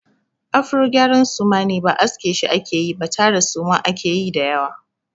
Afro gyara suma ne. Ba aske shi ake yi ba tara suma ake yi da yawa.